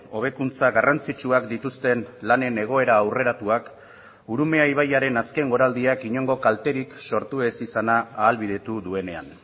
hobekuntza garrantzitsuak dituzten lanen egoera aurreratuak urumea ibaiaren azken goraldiak inongo kalterik sortu ez izana ahalbidetu duenean